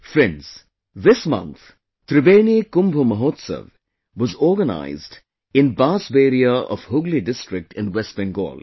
Friends, this month, 'Tribeni Kumbho Mohotshav' was organized in Bansberia of Hooghly district in West Bengal